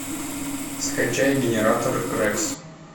скачай генератор рекс